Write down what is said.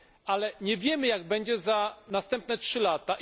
Ale nie wiemy, jak będzie za następne 3 lata.